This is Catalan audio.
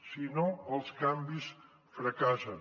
si no els canvis fracassen